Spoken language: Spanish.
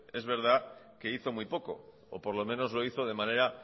es verdad que hizo muy poco o por lo menos lo hizo de manera